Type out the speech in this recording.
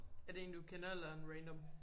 Er det en du kender eller er han random